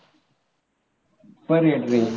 Per head ray